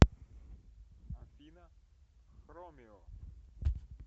афина хромео